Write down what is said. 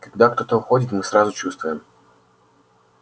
когда кто-то уходит мы сразу чувствуем